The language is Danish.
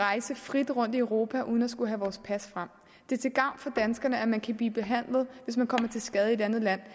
rejse frit rundt i europa uden at skulle have vores pas frem det er til gavn for danskerne at man kan blive behandlet i et andet land